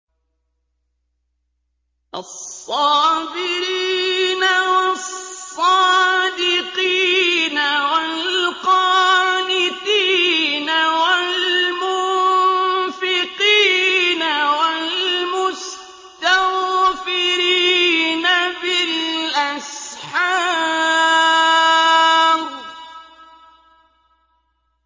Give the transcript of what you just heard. الصَّابِرِينَ وَالصَّادِقِينَ وَالْقَانِتِينَ وَالْمُنفِقِينَ وَالْمُسْتَغْفِرِينَ بِالْأَسْحَارِ